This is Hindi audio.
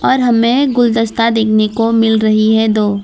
और हमें गुलदस्ता देखने को मिल रही है दो।